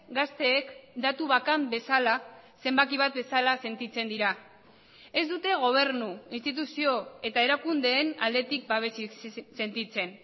gazteek datu bakan bezala zenbaki bat bezala sentitzen dira ez dute gobernu instituzio eta erakundeen aldetik babesik sentitzen